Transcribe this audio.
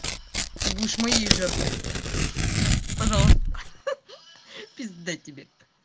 ты будешь моей жертвой пожалуйста пизда тебе